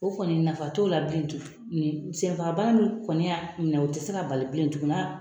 O kɔni nafa t'o la bilen tuguni . Senfaga bana min kɔni ya minɛ o te se ka bali bilen tuguni